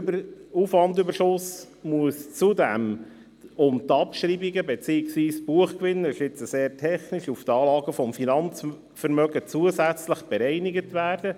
Der Aufwandüberschuss muss zudem um die Abschreibungen beziehungsweise Buchgewinne – das ist jetzt sehr technisch – auf die Anlagen des Finanzvermögens zusätzlich bereinigt werden.